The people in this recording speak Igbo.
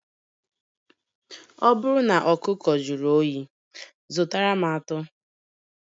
Ọ bụrụ na ọkụkọ jụrụ oyi, zụtara m atọ